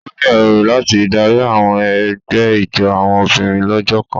O ní èrò láti Dari àwọn egbé ijó àwọn obìnrin lójó kàn.